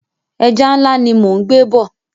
Ẹja ńlá ni mò ń gbé bọ̀.